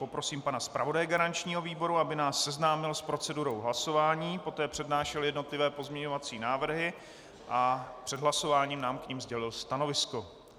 Poprosím pana zpravodaje garančního výboru, aby nás seznámil s procedurou hlasování, poté přednášel jednotlivé pozměňovací návrhy a před hlasováním nám k nim sdělil stanovisko.